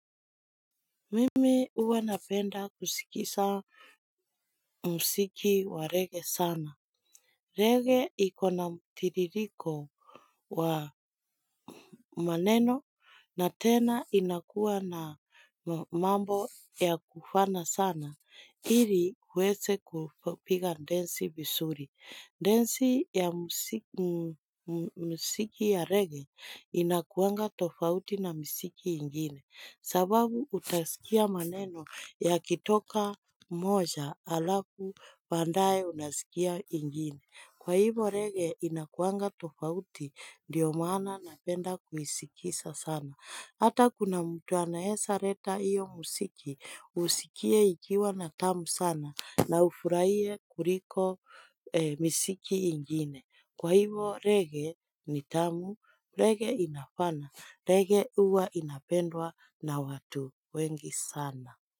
Mimi huwa napenda kusikisa msiki wa rege sana. Rege ikona mtiririko wa maneno na tena inakuwa na mambo ya kufana sana. Iri kuweze kupiga densi visuri. Ndensi ya msiki ya rege inakuanga tofauti na msiki ingine. Sababu utasikia maneno yakitoka moja alafu pandae unasikia ingine. Kwa hivo rege inakuanga tofauti ndio maana napenda kuisikisa sana. Hata kuna mtu anaesa reta iyo musiki usikie ikiwa na tamu sana na ufuraie kuriko misiki ingine. Kwa hivo rege ni tamu, rege inafana, rege uwa inapendwa na watu wengi sana.